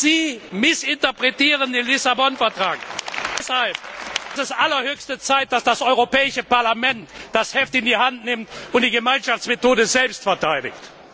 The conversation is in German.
Sie missinterpretieren den Lissabon Vertrag! Deshalb ist es allerhöchste Zeit, dass das Europäische Parlament das Heft in die Hand nimmt und die Gemeinschaftsmethode selbst verteidigt!